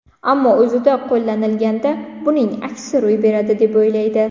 Ammo o‘zida qo‘llanilganda, buning aksi ro‘y beradi deb o‘ylaydi.